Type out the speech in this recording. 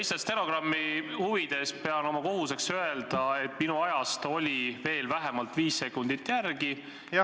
Lihtsalt stenogrammi huvides pean oma kohuseks öelda, et minu ajast oli veel vähemalt viis sekundit järel.